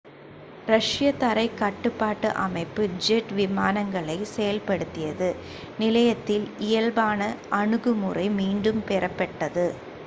ரஷ்ய தரைக் கட்டுப்பாட்டு அமைப்பு ஜெட் விமானங்களைச் செயல்படுத்தியது நிலையத்தின் இயல்பான அணுகுமுறை மீண்டும் பெறப்பட்டது